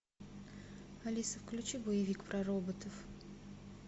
алиса включи боевик про роботов